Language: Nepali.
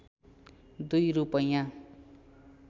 २ रूपैयाँ